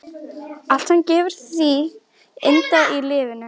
Allt sem gefur því yndi í lífinu.